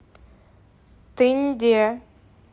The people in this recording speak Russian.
тынде